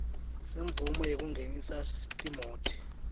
semvumo yekungenisa timoti